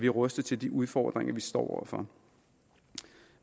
rustet til de udfordringer vi står over for